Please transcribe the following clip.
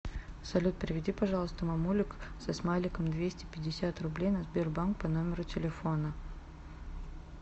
салют переведи пожалуйста мамулик со смайликом двести пятьдесят рублей на сбербанк по номеру телефона